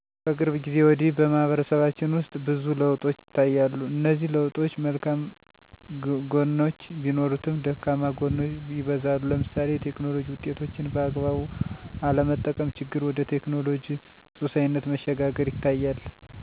ከቅርብ ጊዜ ወዲህ በማህበረሰባችን ውስጥ ብዙ ለውጦች ይታያሉ እነዚህ ለውጦች መልካም ግኖች ቢኖሩትም ደካማ ጎኖች ይበዛሉ ለምሳሌ የቴክኖሎጂ ውጤቶችን በአግባቡ አለመጠቀም ችግር ወደ ቴክኖሎጂ ሱሰኝነት መሸጋገር ይታያል። ይህንንም ስናይ ወጣቱ መፅሀፍ እና ደብተር ከሚያነብ ይልቅ ረጅም ሰአት ስልክ ላይ ማጥፋት ላይ ይታያል። በየመስራቤቱ የስራ ኮምፒዉተሮችን ለኢንተርኔት መዝናኛነት ማዋል።